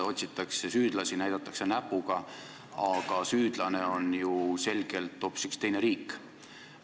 Otsitakse süüdlasi, näidatakse näpuga, aga süüdlane on ju selgelt hoopis üks teine riik.